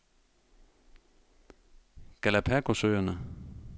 Galapagosøerne